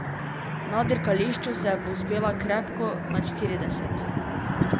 Na dirkališču se je povzpela krepko nad štirideset.